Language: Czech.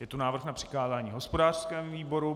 Je tu návrh na přikázání hospodářskému výboru.